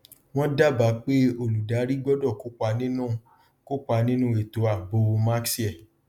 wọn dába pé olùdarí gbọdọ kópa nínú kópa nínú ètò ààbò max air